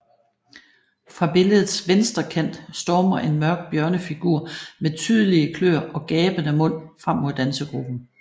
Fra billedets venstre kant stormer en mørk bjørnefigur med tydelige kløer og gabende mund frem mod dansegruppen